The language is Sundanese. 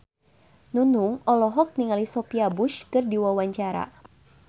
Nunung olohok ningali Sophia Bush keur diwawancara